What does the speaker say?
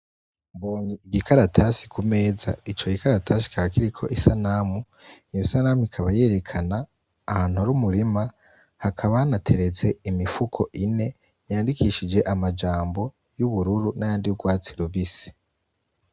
Ikaratasi kumeza icogikaratasi kikaba kiriko isanamu iyo sanamu ikaba yerekana ahantu hari umurima hakaba hanateretse imifuko ine yandikishije amajambo yubururu n’ayandi y'urwatsi rubisi.